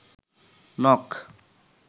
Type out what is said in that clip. নখ